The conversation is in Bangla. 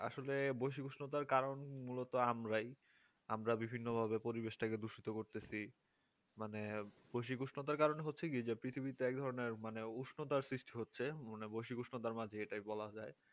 হ্যাঁ আসলে বৈশ্বিক উষ্ণতার কারণ মূলত আমরাই আমরা বিভিন্নভাবে পরিবেশটাকে দূষিত করতেছি মানে বৈশিষ্ট্য উষ্ণতার কারণে হচ্ছে যে পৃথিবীতে এক ধরনের উষ্ণতা সৃষ্টি হচ্ছে মানে বৈশ্বিক উষ্ণতার মাঝে এটাই বলা যায়